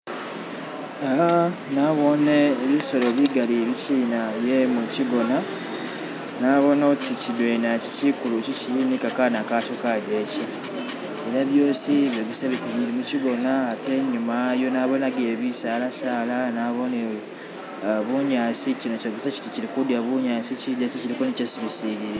Iya nabone bisolo bigaali ibikyina bye mukyigonna, nabonne oti kidwena iki kikulu kili nikakana kakyo kajeke ne byosi byogesa biti bili mushigona ate inyuma nabonagileyo bisala sala naboneyo bunyasi, shino shogesa shiti shili kulya bunyasi, shijeke shiliko ni shesi shisililile.